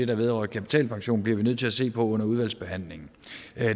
der vedrører kapitalpensionen bliver vi nødt til at se på under udvalgsbehandlingen